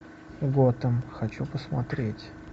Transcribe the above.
готэм хочу посмотреть